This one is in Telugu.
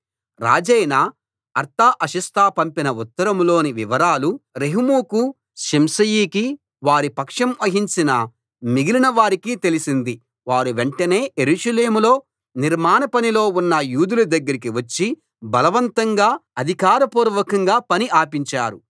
రాజైన అర్తహషస్త పంపిన ఉత్తరంలోని వివరాలు రెహూముకు షిమ్షయికి వారి పక్షం వహించిన మిగిలిన వారికి తెలిసింది వారు వెంటనే యెరూషలేములో నిర్మాణ పనిలో ఉన్న యూదుల దగ్గరికి వచ్చి బలవంతంగా అధికార పూర్వకంగా పని ఆపించారు